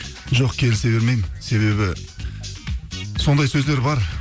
жоқ келісе бермеймін себебі сондай сөздер бар